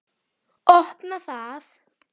Opna það.